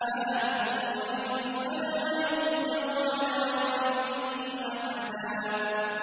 عَالِمُ الْغَيْبِ فَلَا يُظْهِرُ عَلَىٰ غَيْبِهِ أَحَدًا